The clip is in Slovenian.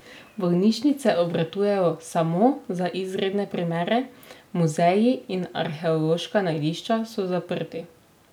Bolnišnice obratujejo samo za izredne primere, muzeji in arheološka najdišča so zaprti.